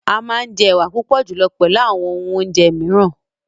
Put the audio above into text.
Amà njẹ ewà púpọ̀ julọ pẹlù àwọn òhun ò̩njẹ̀ miiran.